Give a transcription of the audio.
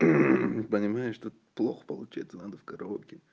мм понимаешь тут плохо получается надо в караоке